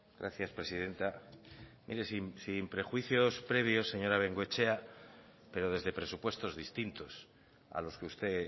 gracias presidenta mire sin prejuicios previos señora bengoechea pero desde presupuestos distintos a los que usted